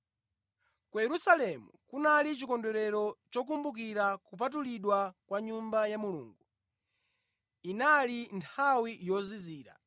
Ku Yerusalemu kunali chikondwerero chokumbukira kupatulidwa kwa Nyumba ya Mulungu. Inali nthawi yozizira,